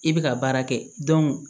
I bɛ ka baara kɛ